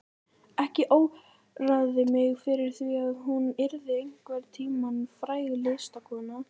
Ekki óraði mig fyrir því að hún yrði einhvern tíma fræg listakona.